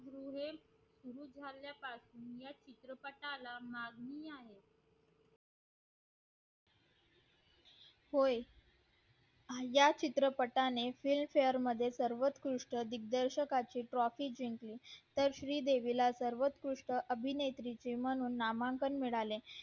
होय या चित्रपणे Filmfare award मध्ये सर्वंकृष्ट दिग्दर्शन ना ची trophy जिंकली तर श्री देवी ला सर्वंकृष्ट अभिनेत्री म्हणून नामांकन मिळाले